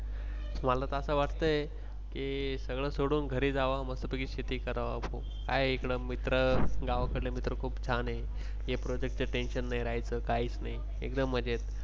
मला त अस वाटतंय की सगळ सोडून घरी जाव. मस्त पैकी शेती कराव. काय आहे इकड मित्र गावकडले मित्र खूप छान आहे. ही Project च Tension नाही राहायच काहीस नाही एकदम मजेत.